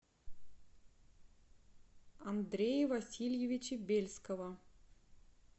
андрея васильевича бельского